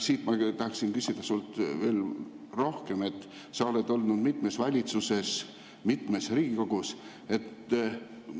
Ma tahaksin küsida sult veel rohkem, sa oled olnud mitmes valitsuses, mitmes Riigikogu.